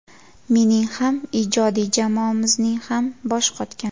Mening ham, ijodiy jamoamizning ham boshi qotgan.